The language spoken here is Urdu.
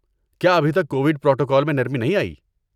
کیا ابھی تک کووڈ پروٹوکول میں نرمی نہیں آئی؟